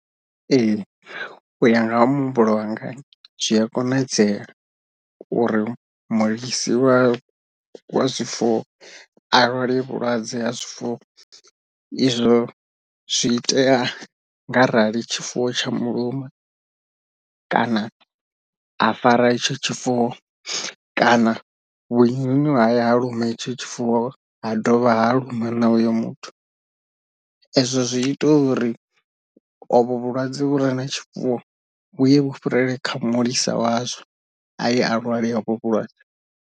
Ee u ya nga ha muhumbulo wanga zwi a konadzea uri mulisi wa wa zwifuwo a lwale vhulwadze ha zwifuwo, izwo zwi itea nga rali tshifuwo tsha muluma kana a fara itsho tshifuwo kana vhunyunyu ha ya ha luma itsho tshifuwo ha dovha ha luma na uyo muthu, ezwo zwi ita uri ovho vhulwadze vhu re na tshifuwo vhuye vhu fhirele kha mulisa wazwo aye a lwala hovho vhulwadze.